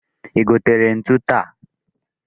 I gotere ntu taa?